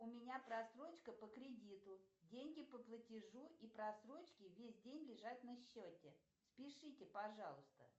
у меня просрочка по кредиту деньги по платежу и просрочке весь день лежат на счете спишите пожалуйста